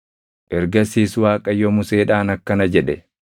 Ergasiis Waaqayyo Museedhaan akkana jedhe;